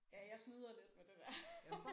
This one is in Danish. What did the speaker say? Ja jeg snyder lidt med det der